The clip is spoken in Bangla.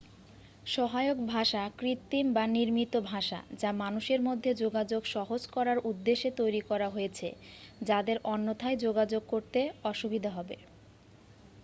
সহায়ক ভাষা কৃত্রিম বা নির্মিত ভাষা যা মানুষের মধ্যে যোগাযোগ সহজ করার উদ্দেশ্যে তৈরি করা হয়েছে যাদের অন্যথায় যোগাযোগ করতে অসুবিধা হবে